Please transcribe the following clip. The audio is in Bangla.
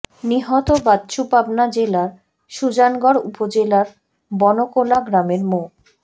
নিহত বাচ্চু পাবনা জেলার সুজানগর উপজেলার বনকোলা গ্রামের মো